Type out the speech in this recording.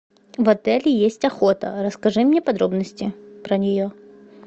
в отеле есть охота расскажи мне подробности про нее